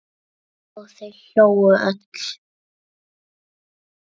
Og þau hlógu öll.